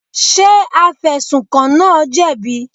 Ṣé afẹ̀sùnkàn náà jẹ̀bi?